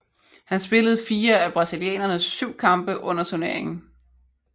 Han spillede fire af brasilianernes syv kampe under turneringen